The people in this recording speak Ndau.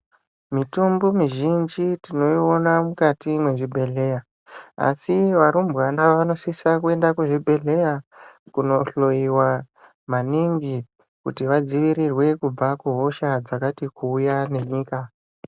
Mitombo mizhinji tino iona mukati mwe zvibhedhleya asi varumbwana vanosisa kuenda ku zvibhedhleya kuno hloyiwa maningi kuti vadzivirirwe kubva ku hosha dzakati kuuya ne nyika.